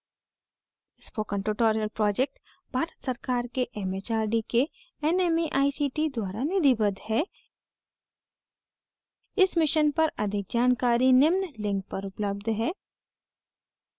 spoken tutorial project Bharat सरकार के M H R D के nmeict द्वारा निधिबद्ध है इस mission पर अधिक जानकारी निम्न link पर उपलब्ध है